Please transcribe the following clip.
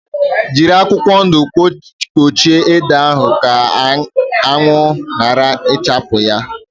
Jírí akwụkwọ ndụ kpuchie ede ahụ ka anwụ yara ichagbu yá